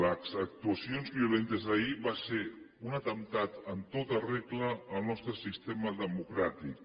les actuacions violentes d’ahir van ser un atemptat en tota regla al nostre sistema democràtic